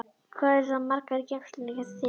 Hvað eru þær margar í geymslunum hjá þér?